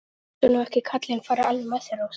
Láttu nú ekki kallinn fara alveg með þig, Rósa.